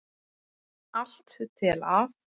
Allt til að